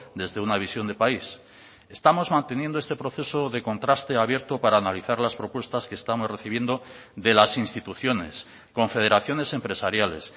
desde una visión de país estamos manteniendo este proceso de contraste abierto para analizar las propuestas que estamos recibiendo de las instituciones confederaciones empresariales